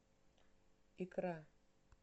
икра